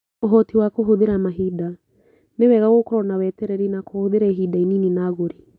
Ũhoti wa kũhũthĩra mahinda: Nĩ wega gũkorũo na wetereri na kũhũthĩra ihinda inini na agũri.